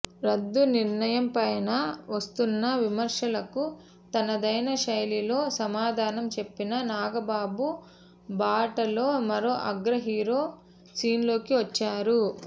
రద్దు నిర్ణయంపైనా వస్తున్న విమర్శలకు తనదైన శైలిలో సమాధానం చెప్పిన నాగబాబు బాటలో మరో అగ్రహీరో సీన్లోకి వచ్చారు